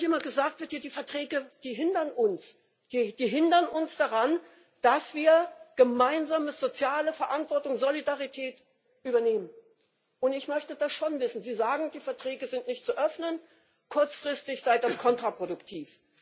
Dass nämlich immer gesagt wird Die Verträge hindern uns daran, dass wir gemeinsame soziale Verantwortung, Solidarität übernehmen. Ich möchte das schon wissen. Sie sagen, die Verträge sind nicht zu öffnen, kurzfristig sei das kontraproduktiv.